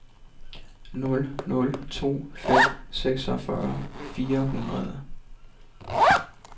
nul nul to fem seksogfyrre fire hundrede